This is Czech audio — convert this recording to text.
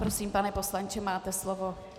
Prosím, pane poslanče, máte slovo.